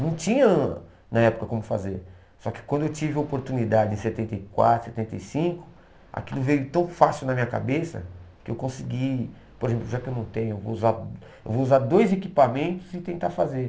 Não tinha na época como fazer, só que quando eu tive oportunidade em setenta e quatro, setenta e cinco, aquilo veio tão fácil na minha cabeça que eu consegui, por exemplo, já que eu não tenho, eu vou usar eu vou usar dois equipamentos e tentar fazer.